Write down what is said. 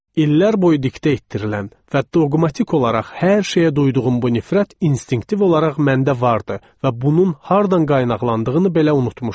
İllər boyu diktə etdirilən və doqmatik olaraq hər şeyə duyduğum bu nifrət instinktiv olaraq məndə vardı və bunun hardan qaynaqlandığını belə unutmuşdum.